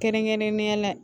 Kɛrɛnkɛrɛnnenya la